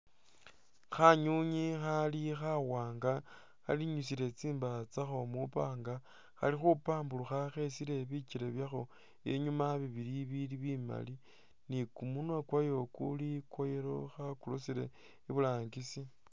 Khanywinywi khali khawanga khalinyusile tsindaya tsakho mu panga khali khu pamburukha khesike bikyele byakho inyuma bili bimali ni kumunwa kwayo kuli kwa yellow khakurusile iburangisi.